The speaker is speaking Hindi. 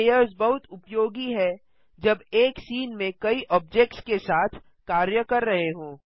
लेयर्स बहुत उपयोगी है जब एक सीन में कई ऑब्जेक्ट्स के साथ कार्य कर रहे हों